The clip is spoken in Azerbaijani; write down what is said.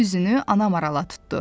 O üzünü Ana Marala tutdu.